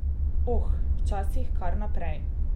Oh, včasih kar naprej ...